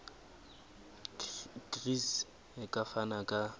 gcis e ka fana ka